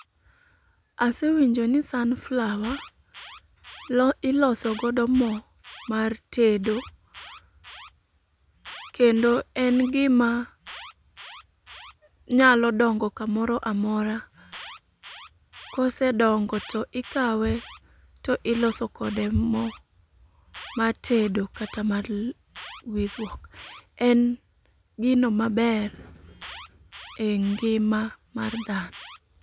Asewinjo ni sunflower iloso godo mo mar tedo. Kendo en gima nyalo dongo kamoro amora, kosedongo to ikawe to ilosokode mo mar tedo kata mar wirruok. En gino maber e ngima mar dhano.